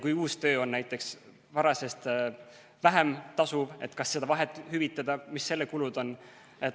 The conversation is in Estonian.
Kui uus töö on näiteks varasemast vähem tasuv, siis kas tuleks seda vahet hüvitada ja mis selle kulud on.